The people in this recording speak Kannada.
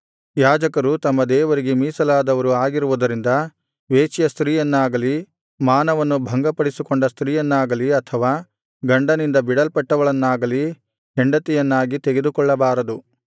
ಯಾಜಕರು ತಮ್ಮ ದೇವರಿಗೆ ಮೀಸಲಾದವರು ಆಗಿರುವುದರಿಂದ ವೇಶ್ಯ ಸ್ತ್ರೀಯನ್ನಾಗಲಿ ಮಾನವನ್ನು ಭಂಗಪಡಿಸಿಕೊಂಡ ಸ್ತ್ರೀಯನ್ನಾಗಲಿ ಅಥವಾ ಗಂಡನಿಂದ ಬಿಡಲ್ಪಟ್ಟವಳನ್ನಾಗಲಿ ಹೆಂಡತಿಯನ್ನಾಗಿ ತೆಗೆದುಕೊಳ್ಳಬಾರದು